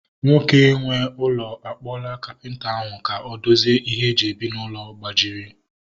Nwoke nwe ụlọ a kpọla kapịnta ahu ka o dozie ihe e ji ebi n'ụlọ gbajiri